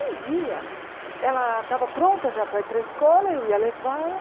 Um dia, ela estava pronta já para ir para a escola, eu ia levá-la.